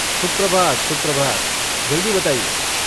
सुप्रभात सुप्रभात, जल्दी बताइये।